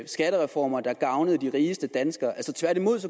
skattereformer der gavnede de rigeste danskere tværtimod